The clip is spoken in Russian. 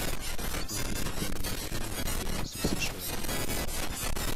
смотреть прикольные мультфильмы производства сша